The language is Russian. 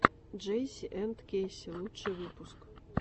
джейси энд кэйси лучший выпуск